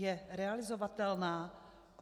Je realizovatelná?